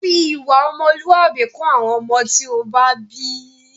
Fi ìwà ọmọlúwàbí kọ́ àwọn ọmọ tí ó bá bí!